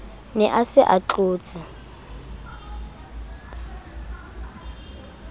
ne a se a tlotse